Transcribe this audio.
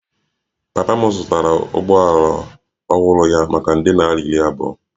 Papa m zụtara ụgbọala ọhụrụ ya maka nde naira iri abụọ